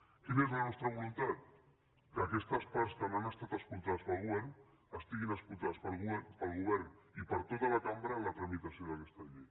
quina és la nostra voluntat que aquestes parts que no han estat escoltades pel govern siguin escoltades pel govern i per tota la cambra en la tramitació d’aquesta llei